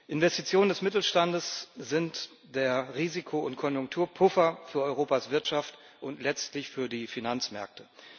Investitionen des Mittelstandes sind der Risiko und Konjunkturpuffer für Europas Wirtschaft und letztlich für die Finanzmärkte.